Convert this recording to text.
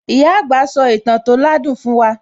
Ìyá àgbà sò ìtàn tó ládùn fún wa